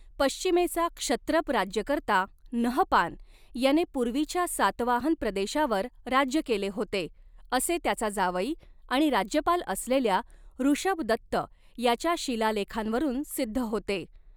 पश्चिमेचा क्षत्रप राज्यकर्ता नहपान याने पूर्वीच्या सातवाहन प्रदेशावर राज्य केले होते, असे त्याचा जावई आणि राज्यपाल असलेल्या ऋषभदत्त याच्या शिलालेखांवरून सिद्ध होते.